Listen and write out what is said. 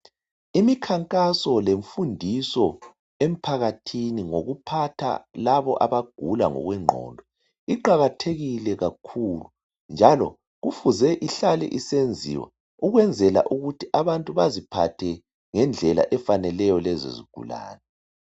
Imikhankaso lemfundiso emphakathini ngokuphatha labo abagula ngokwengqondo iqakathekile kakhulu njalo kufuze ihlale isenziwa ukwenzela ukuthi abantu baziphathathe ngendlela efaneleyo lezo zigulane.